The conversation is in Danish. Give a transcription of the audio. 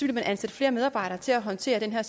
man at ansætte flere medarbejdere til at håndtere